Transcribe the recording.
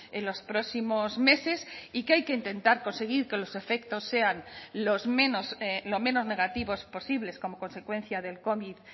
en los próximos meses y que hay que intentar conseguir que los efectos sean los menos lo menos negativos posibles como consecuencia del covid